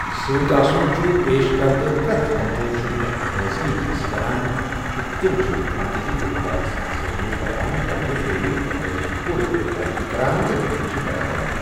سۭتۍ آسُن چھُ پیش کِردٕ پرٮ۪تھ کمپوزیشنُک اکھ لٲزمی حصہ‏ٕ بَنان تہٕ تِم چھِ مرکزی گلوکار سنٛدۍ ذریعہٕ بیان کردٕ سریلی فقرَن ہنٛز پوٗرٕ پٲٹھۍ پیروی کران تہٕ تِمَن چھِ بڑاوان